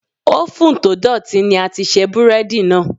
Ófùn to dọ̀tí ní a ti ṣe búrẹ́dì náà.